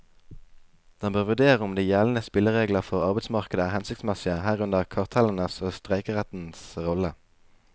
Den bør vurdere om de gjeldende spilleregler for arbeidsmarkedet er hensiktsmessige, herunder kartellenes og streikerettens rolle.